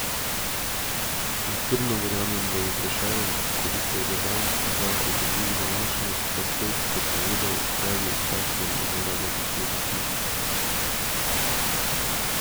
In trdno verjamem, da bi Prešeren, ko bi se za dan, dva obudil v današnjost, takoj prepovedal, tebi takšnemu, zlorabljati svoj zapis!